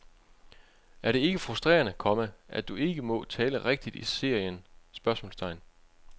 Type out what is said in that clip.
Er det ikke frustrerende, komma at du ikke må tale rigtigt i serien? spørgsmålstegn